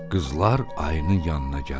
Qızlar ayının yanına gəldilər.